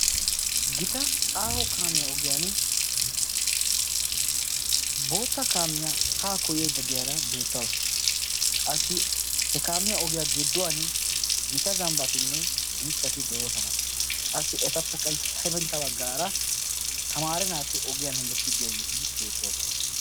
Gita aaho kaamiyaa ogiyan bootta kaamiyaa haa koyeedda de'iyaara beettawusu. Qassi he kaamiya ogiyaa gidduwan gita zambbatinne mittati de'oosona. Qassi etappe hefintta baggaara tamaara naati ogiyan hemettiidi diyaageeti beettoosona.